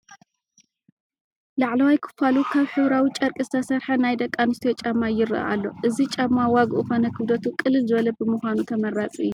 ላዕለዋይ ክፋሉ ካብ ሕብራዊ ጨርቂ ዝተሰርሐ ናይ ደቂ ኣንስትዮ ጫማ ይርአ ኣሎ፡፡ እዚ ጫማ ዋግኡ ኾነ ክብደቱ ቅልል ዝበለ ብምዃኑ ተመራፂ እዩ፡፡